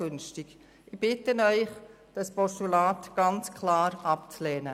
Ich bitte Sie, dieses Postulat klar abzulehnen.